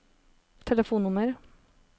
telefonnummer